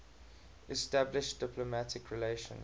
establish diplomatic relations